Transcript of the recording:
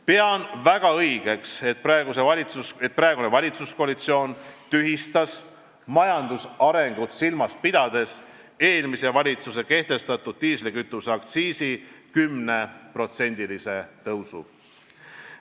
Pean väga õigeks, et praegune valitsuskoalitsioon tühistas majandusarengut silmas pidades eelmise valitsuse kehtestatud diislikütuse aktsiisi 10%-se tõusu.